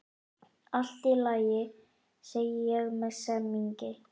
Allt í lagi, segi ég með semingi.